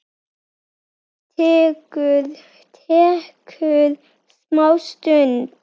Tekur smá stund.